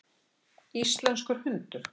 Íslenskur hundur.